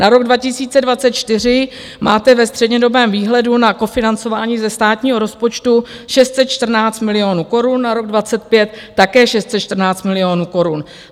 Na rok 2024 máte ve střednědobém výhledu na kofinancování ze státního rozpočtu 614 milionů korun, na rok 2025 také 614 milionů korun.